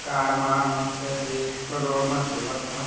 Car मार मस्त ते रोड म चलत हवय ।